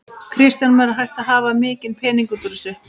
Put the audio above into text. Kristján Már: Er hægt að hafa mikinn pening út úr þessu?